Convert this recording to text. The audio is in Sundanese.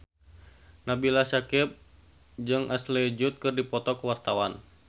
Nabila Syakieb jeung Ashley Judd keur dipoto ku wartawan